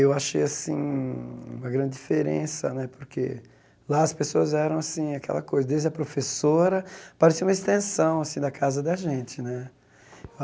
Eu achei assim uma grande diferença né, porque lá as pessoas eram assim aquela coisa, desde a professora, parecia uma extensão assim da casa da gente né.